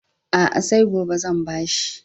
A'a, sai gobe zan ba shi.